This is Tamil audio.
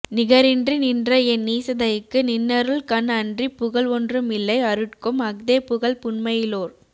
நிகரின்றி நின்ற என் நீசதைக்கு நின்னருள் கண் அன்றிப் புகல் ஒன்றும் இல்லை அருட்க்கும் அஃதே புகல் புன்மையிலோர்